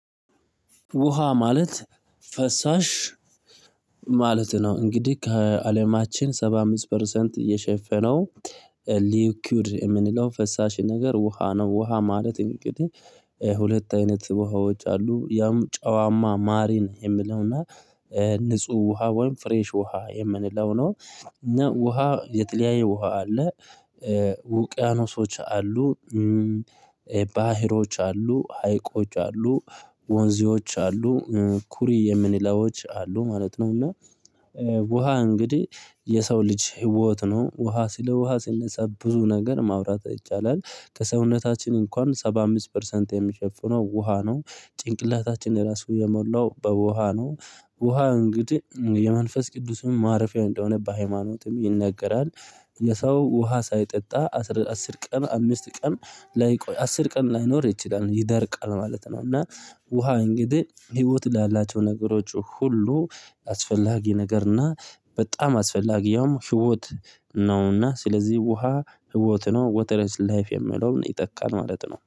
ውሃ ማለት ፈሳሽ ማለት ነው እንግዲህ ከአለማችን ሰባ አምስት ፐርሰንት እየሸፈነው ሊኪውድ የምንለው ፈሳሽ ነገር ውሃ ነው ውሃ ማለት እንግዲህ ሁለት አይነት ውሃዎች አሉ ያም ጨዋማ ማሪን የምንለውና ንጹህ ውሃ ወይም ፍሬሽ ውሃ የምንለው ነው እና ውሃ የተለያየ ውሃ አለ ውቅያኖሶች አሉ ባህሮች አሉ ሀይቆች አሉ ወንዞች አሉ ኩሬ የምንላቸው አሉ ማለት ነው እና ውሃ እንግዲህ የሰው ልጅ ህይወት ነው። ውሃ ስለ ውሃ ሲነሳ ብዙ ነገር ማውራት ይቻላል ከሰውነታችን እንኳን ሰባ አምስት ፐርሰንት የሚሸፍነው ውሃ ነው ጭንቅላታችን ራሱ የሞላው በውሃ ነው ውሃ እንግዲህ የመንፈስ ቅዱስም ማረፊያ እንደሆነ በሃይማኖትም ይነገራል ሰው ውሃ ሳይጠጣ አስር ቀን አምስት ቀን ላይቆይ አስር ቀን ላይኖር ይችላል ይደርቃል ማለት ነው እና ውሃ እንግዲህ ህይወት ላላቸው ነገሮች ሁሉ አስፈላጊ ነገርና በጣም አስፈላጊውም ህይወት ነውና ስለዚህ ውሃ ህይወት ነው ወተረ ኢስ ላይፍ የሚለውን ይጠቃል ማለት ነው